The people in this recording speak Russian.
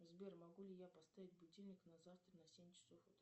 сбер могу ли я поставить будильник на завтра на семь часов утра